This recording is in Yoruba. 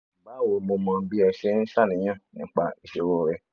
bawo mo mọ bí ẹ ṣe ń ṣàníyàn nípa ìṣòro rẹ